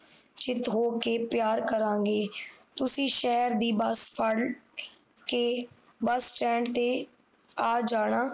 ਚਿੱਤ ਹੋ ਕੇ ਪਿਆਰ ਕਰਾਂਗੇ ਤੁਸੀਂ ਸ਼ਹਿਰ ਦੀ ਬੱਸ ਫੜ੍ਹ ਕੇ bus stand ਤੇ ਆ ਜਾਣਾ